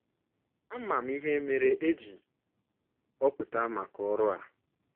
“ Ama m ihe mere e ji họpụta maka ọrụ a.